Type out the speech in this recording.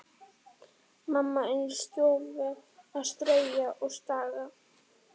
Mamma inni í stofu að strauja og staga.